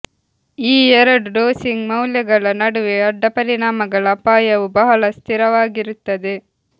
ಈ ಎರಡು ಡೋಸಿಂಗ್ ಮೌಲ್ಯಗಳ ನಡುವೆ ಅಡ್ಡಪರಿಣಾಮಗಳ ಅಪಾಯವು ಬಹಳ ಸ್ಥಿರವಾಗಿರುತ್ತದೆ